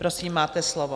Prosím, máte slovo.